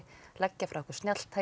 leggja frá okkur